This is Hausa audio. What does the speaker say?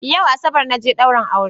Yau asabar naje daurin aure